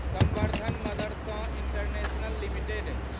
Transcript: संवर्धन Motherson International limited